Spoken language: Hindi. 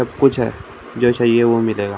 सब कुछ है जो चाहिए वो मिलेगा ।